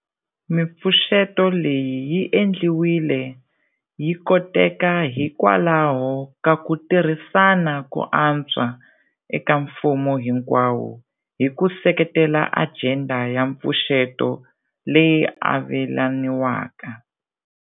Mipfuxeto leyi yi endliwile yi koteka hikwalaho ka ku tirhisana ko antswa eka mfumo hinkwawo hi ku seketela ajenda ya mpfuxeto leyi avelaniwaka.